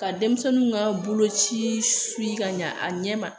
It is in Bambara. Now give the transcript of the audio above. Ka denmisɛnninw ka boloci ka ɲɛ a ɲɛ ma